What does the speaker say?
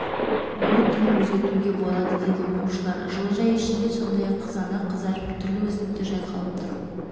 оның түрін өзгертуге болады дейді оқушылар жылыжай ішінде сондай-ақ қызанақ қызарып түрлі өсімдіктер жайқалып тұр